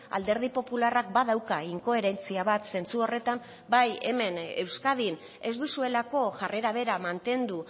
alderdi popularrak badauka inkoherentzia bat zentzu horretan bai hemen euskadin ez duzuelako jarrera bera mantendu